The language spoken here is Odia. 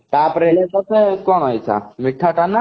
ତା ପରେ ହେଲେ କଣ ମିଠା କାମ